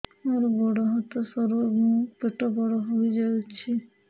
ମୋର ଗୋଡ ହାତ ସରୁ ଏବଂ ପେଟ ବଡ଼ ହୋଇଯାଇଛି